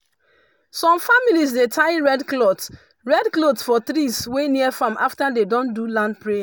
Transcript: some families dey tie red cloth red cloth for trees wey near farm after dem don do land prayer.